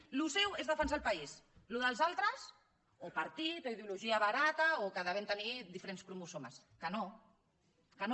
allò seu és defensar el país allò dels altres o partit o ideologia barata o que devem tenir di ferents cromosomes que no que no